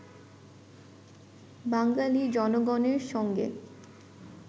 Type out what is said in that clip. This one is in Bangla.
বাঙালী জনগণের সঙ্গে